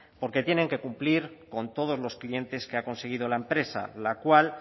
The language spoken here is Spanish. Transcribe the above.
porque tienen que cumplir con todos los clientes que ha conseguido la empresa la cual